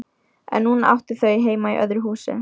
En núna áttu þau heima í öðru húsi.